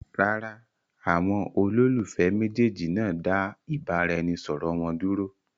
Rárá, àwọn olólùfẹ́ méjèèjì náà dá ìbáraẹnisọọ̀rọ̀ wọn dúró.